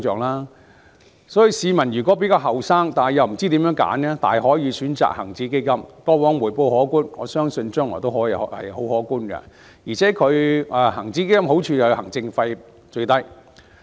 故此，比較年青的市民又不知道如何選擇的話，大可選擇恒指基金，它過往的回報可觀，我相信將來亦然，而且好處是行政費用最低。